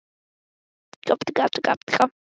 Ég bara gat ekki hætt, Kamilla.